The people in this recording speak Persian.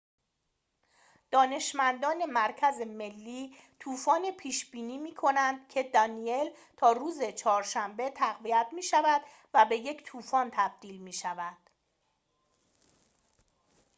دانشمندان مرکز ملی طوفان پیش بینی می کنند که دانیل تا روز چهارشنبه تقویت می‌شود و به یک طوفان تبدیل می‌شود